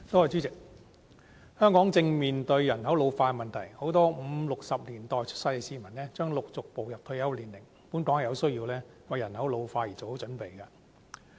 主席，香港正面對人口老化的問題，很多五六十年代出生的市民將陸續步入退休年齡，本港有需要為人口老化做好準備。